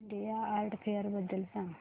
India art fair बद्दल सांग